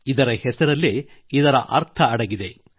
ಇದರ ಹೆಸರಲ್ಲೇ ಇದರರ್ಥ ಅಡಗಿದೆ